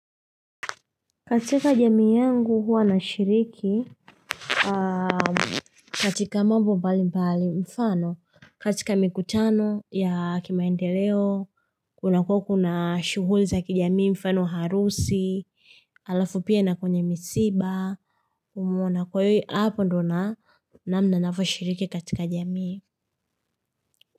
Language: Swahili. Katika jamii yangu huwa na shiriki katika mambo mbali mbali mfano katika mikutano ya kimaendeleo kuna kueko na shughuli za kijamii mfano harusi alafu pia na kwenye misiba umeona kwa hiyo hapo ndio na na namna navyoshiriki katika jamii.